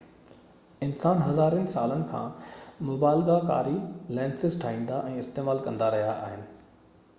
انسان هزارين سالن کان مبالغه ڪاري لينسز ٺاهيندا ۽ استعمال ڪندا رهيا آهن